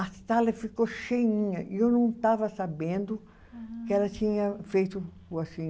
A sala ficou cheinha e eu não estava sabendo que ela tinha feito, assim,